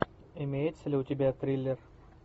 имеется ли у тебя триллер